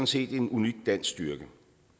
set en unik dansk styrke